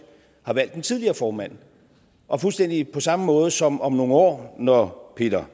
har valgt den tidligere formand og fuldstændig på samme måde som om nogle år når peter